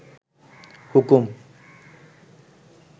হুকুম